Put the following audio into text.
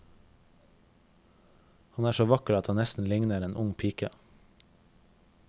Han er så vakker at han nesten ligner en ung pike.